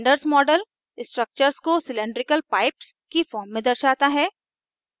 cylinders model structure को cylindrical pipes की form में दर्शाता है